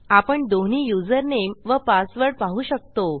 आपण दोन्ही युजरनेम व पासवर्ड पाहू शकतो